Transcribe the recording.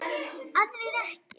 Aðrir ekki.